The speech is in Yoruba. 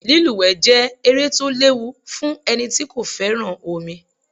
Lúlùwé jẹẹ́ eré to léwu fun eni tí kò féràn omi